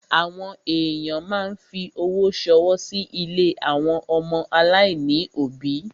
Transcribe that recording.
Àwọn èyàn máa ń fi owó ṣọwọ́ sí ilé àwọn ọmọ aláìní òbí.